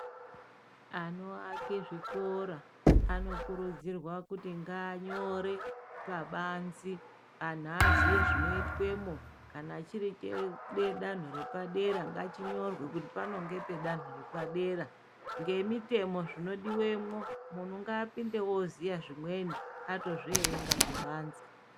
Anoaka zvikora anokurudzirwa kuti nganyore pabanze anhu azive zvinoitwemo kana chiri chedanho repadera ngapanyorwe kuti panapa ndipo pedanho repadera ngemitemo zvinodiwamo muntu ngapinde azive zvimweni atozviverenga pabanze.